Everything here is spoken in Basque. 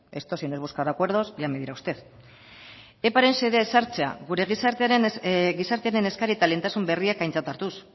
esto si no es buscar acuerdos ya me dirá usted eparen xedea ezartzea gure gizartearen eskaria eta lehentasun berriak aintzat hartuz